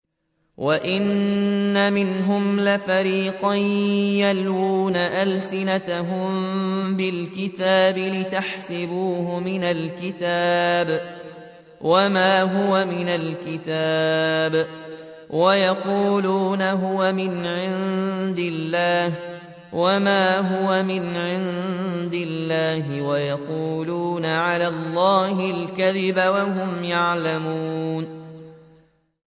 وَإِنَّ مِنْهُمْ لَفَرِيقًا يَلْوُونَ أَلْسِنَتَهُم بِالْكِتَابِ لِتَحْسَبُوهُ مِنَ الْكِتَابِ وَمَا هُوَ مِنَ الْكِتَابِ وَيَقُولُونَ هُوَ مِنْ عِندِ اللَّهِ وَمَا هُوَ مِنْ عِندِ اللَّهِ وَيَقُولُونَ عَلَى اللَّهِ الْكَذِبَ وَهُمْ يَعْلَمُونَ